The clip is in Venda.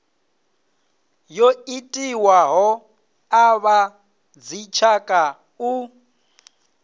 yo itiwaho a vhadzitshaka u